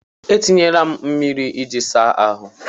E tinyela m mmiri iji asa ahụ.